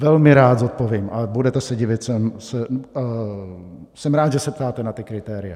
Velmi rád zodpovím, ale budete se divit, jsem rád, že se ptáte na ta kritéria.